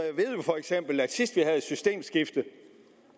vil jeg sige